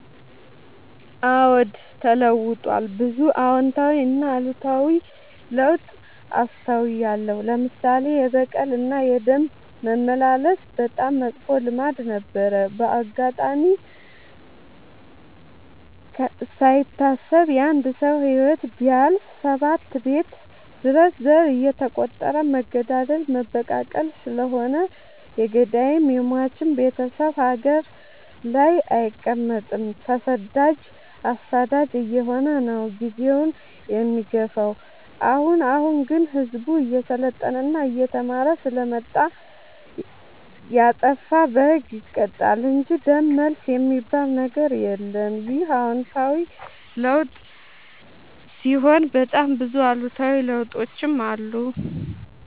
አዎድ ተለውጧል ብዙ አዎታዊ እና አሉታዊ ለውጥ አስታውያለሁ። ለምሳሌ፦ የበቀል እና የደም መመላለስ በጣም መጥፎ ልማድ ነበረ። በአጋጣሚ ካይታሰብ የአንድ ሰው ህይወት ቢያልፍ ሰባት ቤት ድረስ ዘር እየተ ቆጠረ መገዳደል መበቃቀል ስለሆነ የገዳይም የሞችም ቤቴሰብ ሀገር ላይ አይቀ መጥም ተሰዳጅ አሳዳጅ አየሆነ ነው። ጊዜውን የሚገፋው። አሁን አሁን ግን ህዝቡ እየሰለጠና እየተማረ ስለመጣ። የጣፋ በህግ ይቀጣል እንጂ ደም መልስ የሚበል ነገር የለም ይህ አዎታዊ ለውጥ ሲሆን በጣም ብዙ አሉታዊ ለውጦችም አሉ።